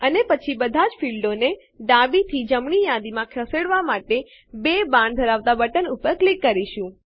અને પછી બધાજ ફીલ્ડો ક્ષેત્રોને ડાબીથી જમણી યાદીમાં ખસેડવાં માટે બે બાણ ધરાવતા બટન ઉપર ક્લિક કરીશું